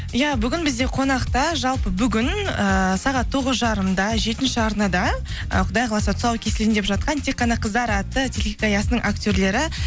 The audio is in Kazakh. иә бүгін бізде қонақта жалпы бүгін ііі сағат тоғыз жарымда жетінші арнада ы құдай қаласа тұсау кесілейін деп жатқан тек қана қыздар атты телехикаясының актерлері